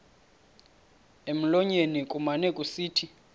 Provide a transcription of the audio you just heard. emlonyeni kumane kusithi